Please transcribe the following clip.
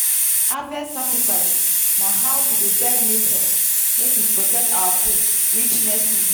harvest sacrifice na how we dey beg nature make e protect our food reach next season.